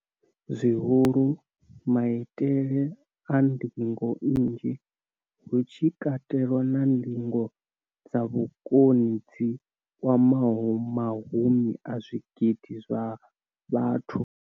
zwihulu, maitele a ndingo nnzhi, hu tshi katelwa na ndingo dza vhukoni dzi kwamaho mahumi a zwigidi zwa vhathu.